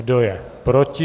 Kdo je proti?